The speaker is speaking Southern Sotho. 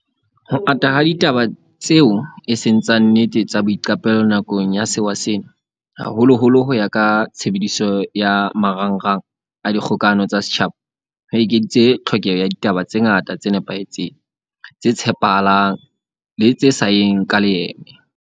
Ho ata ha ditaba tseo eseng tsa nnete tsa boiqapelo nakong ya sewa sena, haholoholo ho ya ka tshebediso ya ma rangrang a dikgokahano tsa setjhaba, ho ekeditse tlhokeho ya ditaba tse ngata tse nepahetseng, tse tshepa halang le tse sa yeng ka leeme.